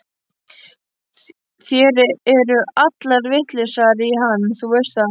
Þær eru allar vitlausar í hann, þú veist það.